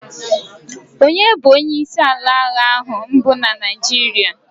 onye bu onye isi ala agha mbu na Naijiria?